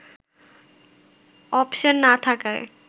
option না থাকায়